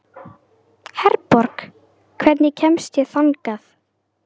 Herborg, hvernig kemst ég þangað?